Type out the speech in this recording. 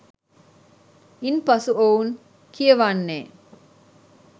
ඉන් පසු ඔවුන් කියවන්නේ